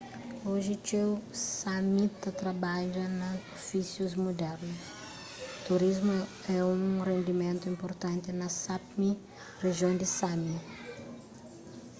oji txeu sámi ta trabadja na ofísius mudernus turismu é un rendimentu inpurtanti na sápmi rijion di sámi